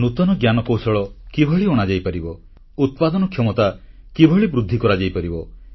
ନୂତନ ଜ୍ଞାନକୌଶଳ କିଭଳି ଅଣାଯାଇପାରିବ ଉତ୍ପାଦନ କ୍ଷମତା କିଭଳି ବୃଦ୍ଧି କରାଯାଇପାରିବ